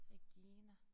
Regina